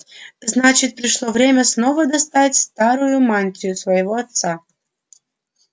значит пришло время снова достать старую мантию своего отца